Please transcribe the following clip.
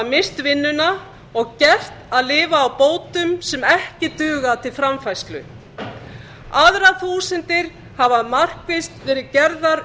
misst vinnuna og gert að lifa á bótum sem ekki duga til framfærslu aðrar þúsundir hafa markvisst verið gerðar